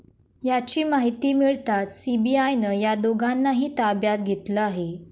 याची माहिती मिळताच सीबीआयनं या दोघांनाही ताब्यात घेतलं आहे.